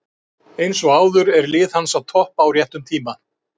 Eins og áður er lið hans að toppa á réttum tíma.